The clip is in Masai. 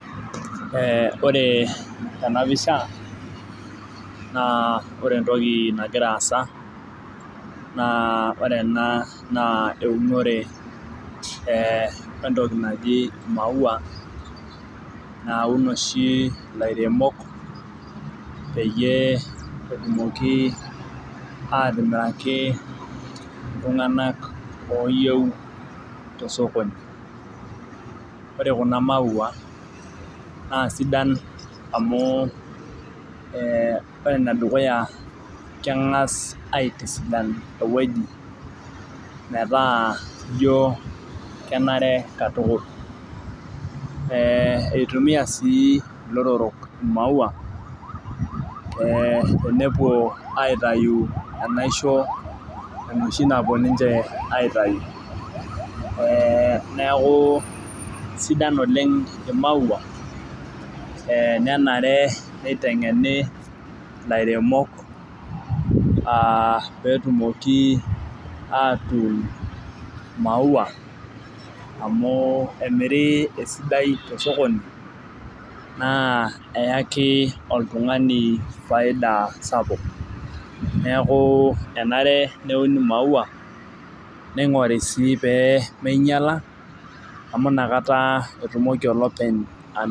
Ee ore tenapisha na ore entoki nagira aasa ore ena na eunore entoki naji irmaua naun oshi lairemok petumoki atimiraki ltunganak oyieu tosokoni ore kuna maua na sidan amu ore enedukuya kengasbaitisidan ewueji metaa ijo kenare katukul eitumia si lotorok maua ee tenepuoil aitau enaiso enoshi napuobninche aitau neaku sidai oleng tenepuoi aitau ee nenare nitengeni lairemok aa petumoki atuun maua amu emiri esidai tosokoni na eyaki oltungani faida sapuk neaku enare neuni maua ningori si peminyala amu nakata etumoki olopeny.